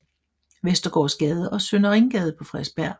Vestergaards Gade og Søndre Ringgade på Frederiksbjerg